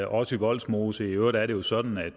også i vollsmose i øvrigt er det jo sådan at